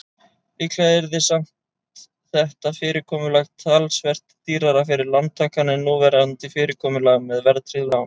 Líklega yrði samt þetta fyrirkomulag talsvert dýrara fyrir lántakann en núverandi fyrirkomulag með verðtryggð lán.